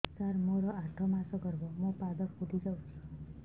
ସାର ମୋର ଆଠ ମାସ ଗର୍ଭ ମୋ ପାଦ ଫୁଲିଯାଉଛି